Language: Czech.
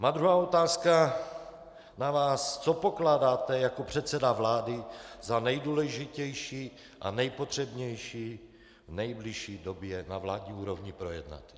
Moje druhá otázka na vás: Co pokládáte jako předseda vlády za nejdůležitější a nejpotřebnější v nejbližší době na vládní úrovni projednat?